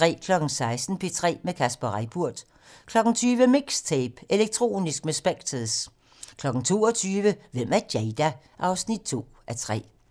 16:00: P3 med Kasper Reippurt 20:00: MIXTAPE - Elektronisk med Specktors 22:00: Hvem er Jada? 2:3